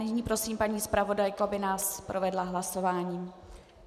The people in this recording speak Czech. Nyní prosím paní zpravodajku, aby nás provedla hlasováním.